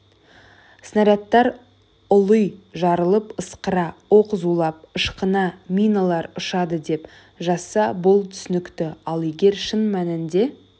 снарядтар ұли жарылып ысқыра оқ зулап ышқына миналар ұшады деп жазса бұл түсінікті ал егер шын мәнінде